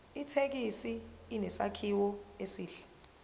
ithekisi inesakhiwo esihle